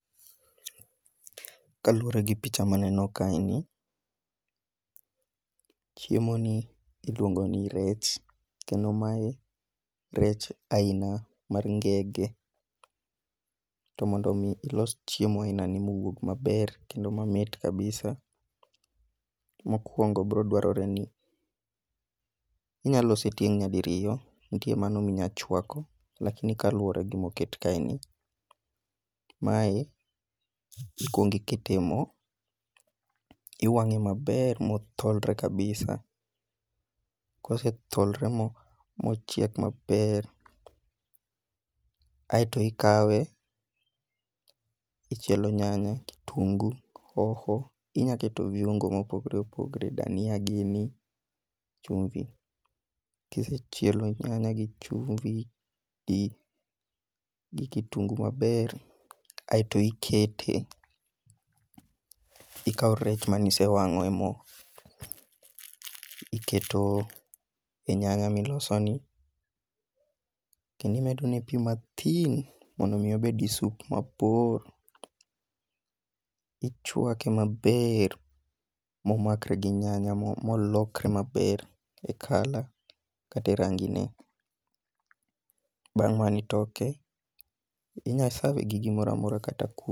Kaluwore gi picha maneno kae ni, chiemo ni iluongo ni rech. Kendo mae rech aina mar ngege, to mondi mi ilos chiemo aina ni mowuog maber kendo mamit kabisa, mokwongo biro dwarore ni inyalose tieng' nyadi riyo. Nitie mano minya chwako, lakini kaluwore gi moket kae ni, mae ikwong ikete mo. Iwang'e maber motholre kabisa, kosetholre mo mochiek maber, aito ikawe ichielo nyanya, kitungu, hoho, inya keto viongo mopogre opogre, dania gini, chumvi. Kisechielo nyanya gi chumvi gi kitungu maber aeto ikete, ikawo rech mane isewang'o e mo, iketo e nyanya miloso ni. Kendo imedo ne pi mathin mondo mi obed gi sup mabor, ichwake maber momakre gi nyanya molokre maber e kala kate rangine. Bang' mano itoke, inyasave gi gimoramora kata kuo.